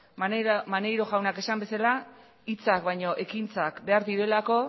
maneiro jaunak esan bezala hitzak baino ekintzak behar direlako